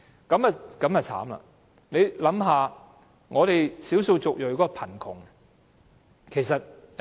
這便慘了，大家也想象到少數族裔的貧窮情況。